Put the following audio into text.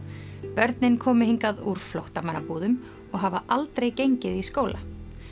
börnin komu hingað úr flóttamannabúðum og hafa aldrei gengið í skóla